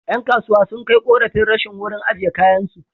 Ƴan kasuwa sun kai ƙorafin rashin wurin ajiye kayansu.